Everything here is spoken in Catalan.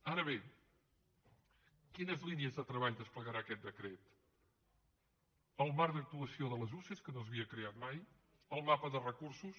ara bé quines línies de treball desplegarà aquest decret el marc d’actuació de les usee que no s’havia creat mai el mapa de recursos